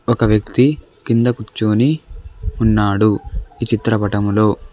ఒక వ్యక్తి కింద కూర్చొని ఉన్నాడు ఈ చిత్రపటంలో.